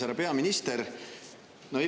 Härra peaminister!